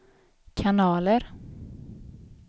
kanaler